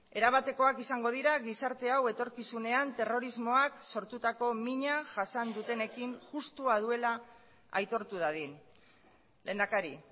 erabatekoak izango dira gizarte hau etorkizunean terrorismoak sortutako mina jasan dutenekin justua duela aitortu dadin lehendakari